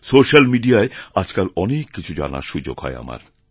সোশ্যালমিডিয়ায় আজকাল অনেক কিছু জানার সুযোগ হয় আমার